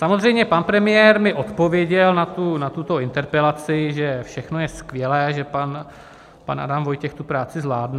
Samozřejmě pan premiér mi odpověděl na tuto interpelaci, že všechno je skvělé, že pan Adam Vojtěch tu práci zvládne.